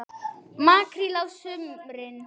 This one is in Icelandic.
Makríll á sumrin.